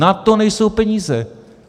Na to nejsou peníze.